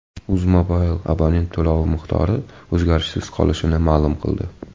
UzMobile abonent to‘lovi miqdori o‘zgarishsiz qolishini ma’lum qildi.